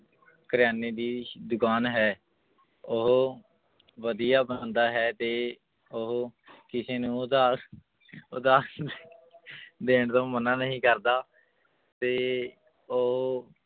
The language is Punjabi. ਕਰਿਆਨੇ ਦੀ ਦੁਕਾਨ ਹੈ ਉਹ ਵਧੀਆ ਬੰਦਾ ਹੈ ਤੇ ਉਹ ਕਿਸੇ ਨੂੰ ਉਧਾਰ ਉਧਾਰ ਸੁਧਾ ਦੇਣ ਤੋਂ ਮਨਾ ਨਹੀਂ ਕਰਦਾ ਤੇ ਉਹ